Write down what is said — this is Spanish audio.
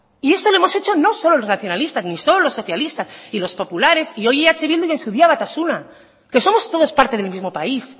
y esto lo hemos hecho no solo los nacionalistas ni solo los socialistas y los populares y hoy eh bildu y en su día batasuna que somos todos parte del mismo país